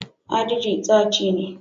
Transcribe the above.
" agidi" staci ne.